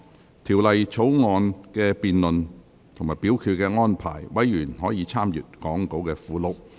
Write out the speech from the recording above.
就《條例草案》的辯論及表決安排，委員可參閱講稿附錄。